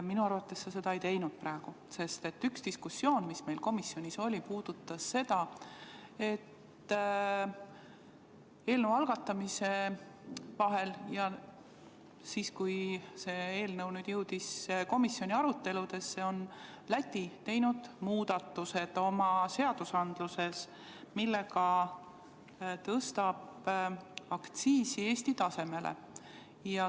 Minu arvates sa seda praegu ei teinud, sest üks diskussioon, mis meil komisjonis oli, puudutas seda, et eelnõu algatamise ja komisjoni aruteludesse jõudmise vahel on Läti teinud oma seaduses muudatused, millega tõstab aktsiisi Eesti tasemele.